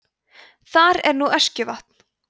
þar en nú öskjuvatn